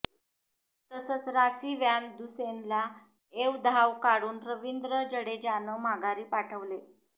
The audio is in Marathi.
तसंच रासी वॅन दुसेनला एव धाव काढून रविंद्र जडेजानं माघारी पाठवले